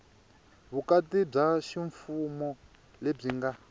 vukati bya ximfumo lebyi nga